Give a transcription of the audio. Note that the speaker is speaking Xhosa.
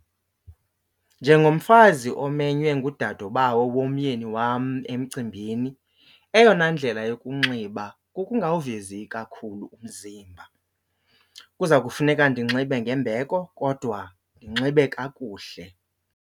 Njengomfazi omenywe ngudadobawo womyeni wam emcimbini, eyona ndlela yokunxiba kukungawuvezi kakhulu umzimba. Kuza kufuneka ndinxibe ngembeko kodwa ndinxibe kakuhle.